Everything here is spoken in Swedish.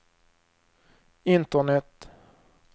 internet